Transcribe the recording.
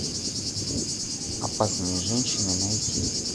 опасные женщины найти